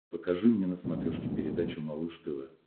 покажи мне на смотрешке передачу малыш тв